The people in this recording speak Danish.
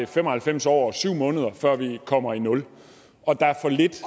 fem og halvfems år og syv måneder før vi kommer i nul og der er for lidt